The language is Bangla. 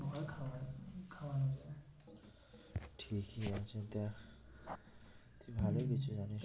ঠিকই আছে দেখ তুই ভালোই কিছু জানিস।